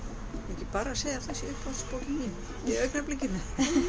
ekki bara að segja að það sé uppáhaldsbókin mín í augnablikinu